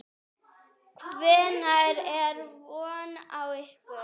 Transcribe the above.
Hvenær er von á ykkur?